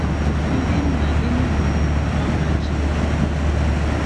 Ndị nna Enugwu wuru ọba ji.